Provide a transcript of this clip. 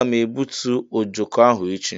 Ee aga m egbútú ojoko ahụ echi..